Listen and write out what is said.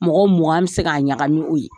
Mɔgɔ mugan an bɛ se k'a ɲagami o ye.